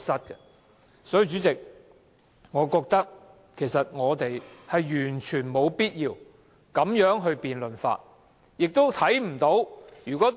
因此，主席，我認為我們完全沒必要這樣辯論修改《議事規則》議案。